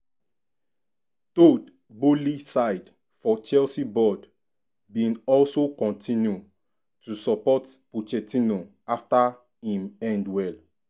todd boehly side for chelsea board bin also kontinu to support pochettino afta im end well.